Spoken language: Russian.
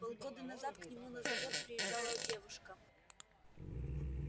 полгода назад к нему на завод приезжала девушка